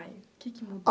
O que que mudou?